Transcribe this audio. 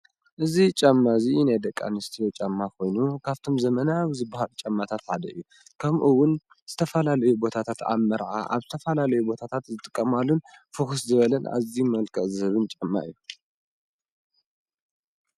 እዚ ጫማ እዚ ናይ ደቂ ኣነስትዮ ጫማ ኮይኑ ካብቶም ዘመናዊ ዝባሃሉ ጨማታት ሓደ እዩ፡፡ ከምኡ እውን ዝተፈላለዩ ቦታታት ኣብ መርዓ ኣብ ዝተፈላለዩ ቦታታት ዝጥቀማሉን ፍኩስ ዝበለን ኣዝዩ መልክዕ ዝህብን ጫማ እዩ፡፡